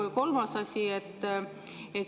Ja kolmas asi.